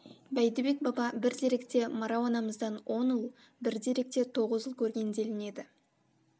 бәйдібек баба бір деректе марау анамыздан он ұл бір деректе тоғыз ұл көрген делінеді